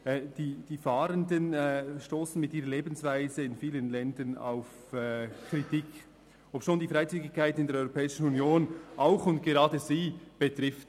Die Fahrenden stossen mit ihrer Lebensweise in vielen Ländern auf Kritik, obschon die Freizügigkeit in der Europäischen Union auch und gerade sie betrifft.